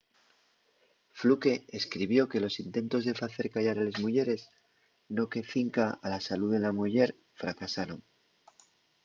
fluke escribió que los intentos de facer callar a les muyeres no que cinca a la salú de la muyer fracasaron